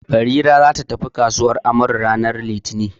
Barira za ta tafi kasuwan Amaru ranar litini.